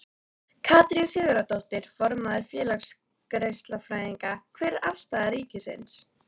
Katrín Sigurðardóttir, formaður Félags geislafræðinga: Hver er afstaða ríkisins?